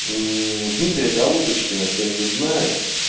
дмитрия голубочкина кто-нибудь знает